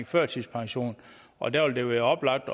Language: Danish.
førtidspension og der vil det være oplagt